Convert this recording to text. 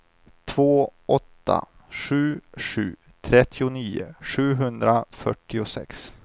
två åtta sju sju trettionio sjuhundrafyrtiosex